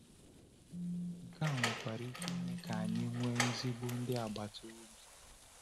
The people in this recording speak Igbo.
Nke a nwekwara ike ime ka anyị nwee ezigbo ndị agbata obi.